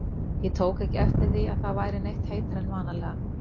Ég tók ekki eftir því, að það væri neitt heitara en vanalega